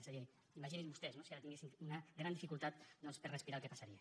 és a dir imaginin se vostès no si ara tinguessin una gran dificultat doncs per a respirar el que passaria